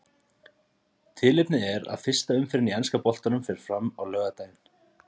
Tilefnið er að fyrsta umferðin í enska boltanum fer fram á laugardaginn.